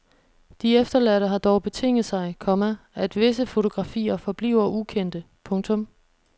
De efterladte har dog betinget sig, komma at visse fotografier forbliver ukendte. punktum